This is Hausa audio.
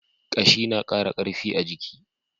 Ƙashi na ƙara ƙarfi a jiki.